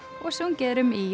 og sungið er um í